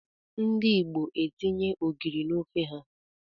Ndị Igbo etinye ogiri n'ofe ha.